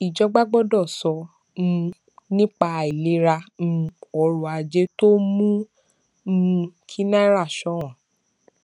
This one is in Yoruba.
ìjọba gbọdọ sọ um nípa àìlera um ọrọ ajé tó mú um kí náírà ṣọwọn